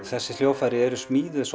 þessi hljóðfæri eru smíðuð